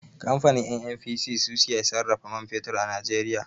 Kamfanin NNPC su ke sarrafa man fetur a Najeriya.